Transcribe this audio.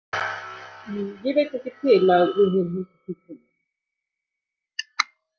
Ég veit ekki til að við höfum haldið því fram.